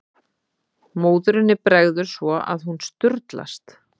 Móðurinni bregður svo að hún sturlast.